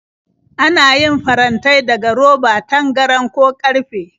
Ana yin farantai daga roba, tangaran, ko ƙarfe.